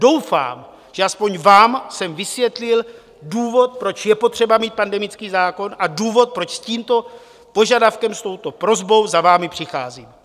Doufám, že aspoň vám jsem vysvětlil důvod, proč je potřeba mít pandemický zákon, a důvod, proč s tímto požadavkem, s touto prosbou za vámi přicházím.